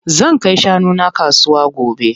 Zan kai shanu na kasuwa gobe.